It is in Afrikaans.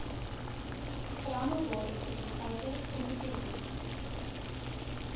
verhandelbare sekuriteite promesses